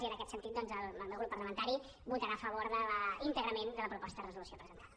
i en aquest sentit el meu grup parlamentari votarà a favor íntegrament de la proposta de resolució presentada